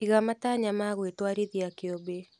Iga matanya ma gwĩtũarithia kĩũmbe.